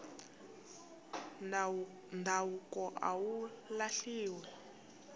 ndhavuko a wu lahliwi